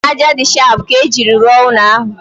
Ájá dị shapụ ka ejiri rụọ ụlọ ahụ